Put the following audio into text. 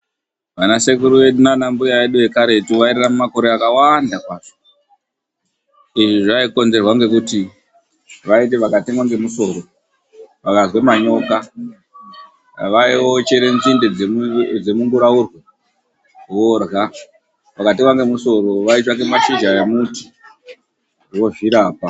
Vanasekuru vedu naanambuya vedu vekaretu vairarama makore akawanda kwazvo. Izvi zvaikonzerwa ngekuti vaiti vakatemwa ngemusoro, vakazwe manyoka, vaiochere nzinde dzemunguraurwe vorya. Vakatemwa ngemusoro vaitsvaka mashizha emuti vozvirapa .